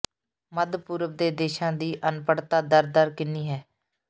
ਮੱਧ ਪੂਰਬ ਦੇ ਦੇਸ਼ਾਂ ਦੀ ਅਨਪੜ੍ਹਤਾ ਦਰ ਦਰ ਕਿੰਨੀ ਹੈ